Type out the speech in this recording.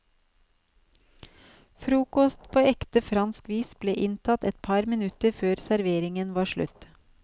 Frokost på ekte fransk vis ble inntatt et par minutter før serveringen var slutt.